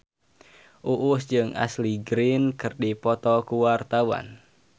Uus jeung Ashley Greene keur dipoto ku wartawan